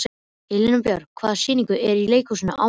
Elínbjörg, hvaða sýningar eru í leikhúsinu á mánudaginn?